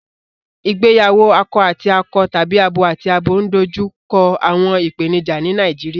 Ìgbéyàwó akọ àti akọ tàbí abo àti abo ń dojú kọ àwọn ìpèníjà ní Nàìjíríà